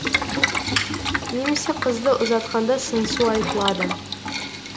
немесе қызды ұзатқанда сыңсу айтылады